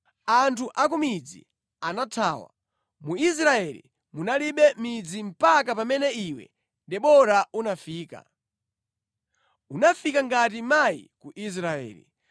Anthu a ku midzi anathawa; mu Israeli munalibe midzi mpaka pamene iwe Debora unafika; unafika ngati mayi ku Israeli.